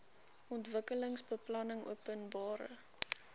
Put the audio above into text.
ontwikkelingsbeplanningopenbare